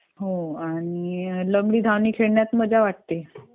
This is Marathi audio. हो आणि लंगडी धावणी खेळण्यात मजा वाटते